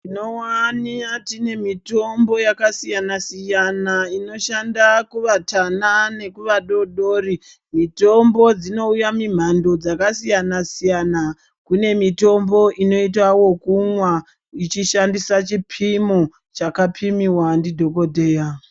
Tinowana tine mitombo yakasiyana-siyana, inoshanda kuvatana nekuvadodori. Mitombo dzinouya mimhando , dzakasiyana-siyana. Kune mitombo inoita wokumwa ichishandisa chipimo, chakapimiwa ndidhokodheya.